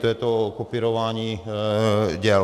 To je to kopírování děl.